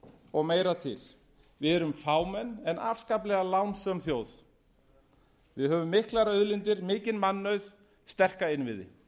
og meira til við erum fámenn ef afskaplega lánsöm þjóð við höfum miklar auðlindir mikinn mannauð sterka innviði